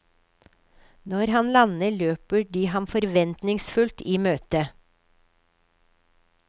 Når han lander, løper de ham forventningsfullt i møte.